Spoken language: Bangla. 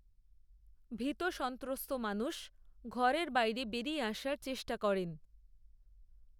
ভীত সন্ত্রস্ত মানুষ ঘরের বাইরে বেরিয়ে আসার চেষ্টা করেন